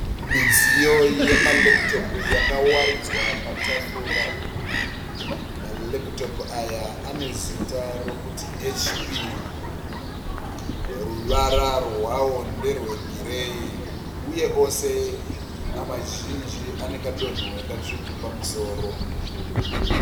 Midziyo yema lepitopu yakawaridzwa patafura . Ma lepitopu aya ane ziita rokuti HP. Ruvara rwawo nderwe gireyi. Uye ose mazhinji ane kadonhwe katsvuku pamusoro.